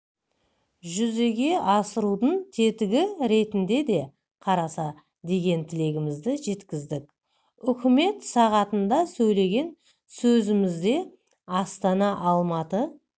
жүзеге асырудың тетігі ретінде де қараса деген тілегімізді жеткіздік үкімет сағатында сөйлеген сөзімізде астана алматы